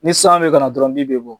Ni san bɛ ka na dɔrɔnw bin bɛ bɔ.